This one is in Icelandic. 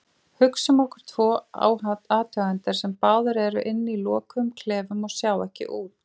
Hugsum okkur tvo athugendur sem báðir eru inni í lokuðum klefum og sjá ekki út.